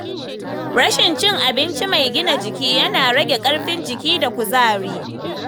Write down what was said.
Rashin cin abinci mai gina jiki yana rage ƙarfin jiki da kuzari.